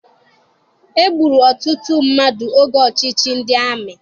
E gburu ọtụtụ mmadụ oge ọchịchị ndị amị.